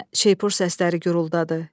Yenə şeypur səsləri guruldadı.